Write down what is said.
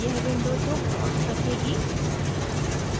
यह विंडो दो प्लॉट्स रखेगी